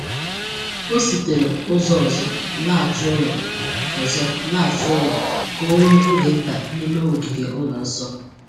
O sitere ụzọ ọzọ laghachi ụlọ ọzọ laghachi ụlọ ka o nwee oge nta n’ime ogige ụlọ nsọ.